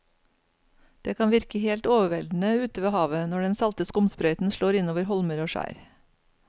Det kan virke helt overveldende ute ved havet når den salte skumsprøyten slår innover holmer og skjær.